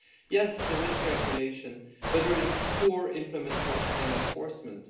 Yes, there is regulation, but there is poor implementation and enforcement.